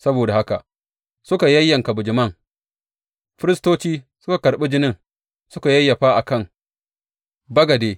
Saboda haka suka yayyanka bijiman, firistoci suka karɓi jinin suka yayyafa a kan bagade.